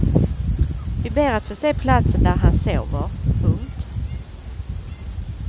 Vi ber att få se platsen där han sover. punkt